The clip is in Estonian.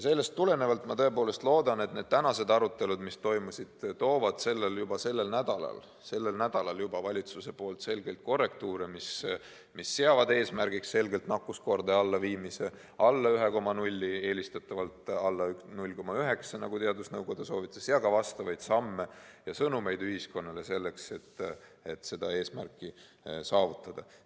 Sellest tulenevalt ma tõepoolest loodan, et täna toimunud arutelud toovad juba sellel nädalal valitsuselt selgeid korrektuure, mis seavad eesmärgiks nakkuskordaja viimise alla 1,0 – eelistatavalt alla 0,9, nagu teadusnõukoda soovitas –, ning ka vastavaid samme ja sõnumeid ühiskonnale selleks, et see eesmärk saavutada.